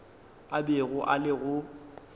a bego a le go